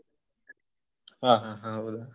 ಹಾ ಹಾ ಹೌದಾ?